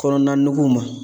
Kɔnɔna nugu ma